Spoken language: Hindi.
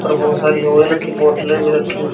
और बहुत सारी ऑयल की बोतलें भी रखी हुई--